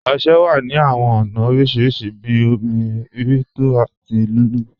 Ọṣẹ wà ní awọn ọna oríṣiríṣì bí òmi, rí tó àti lulú.